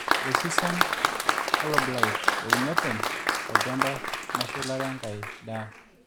resistant halo blight, euni oopeny tolchamba meshulare enkai daa